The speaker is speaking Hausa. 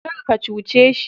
Kar ka cuce shi